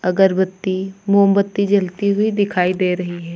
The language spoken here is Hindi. अगरबत्ती मोमबत्ती जलती हुई दिखाई दे रही है।